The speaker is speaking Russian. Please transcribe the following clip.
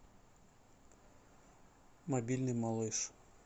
мобильный малыш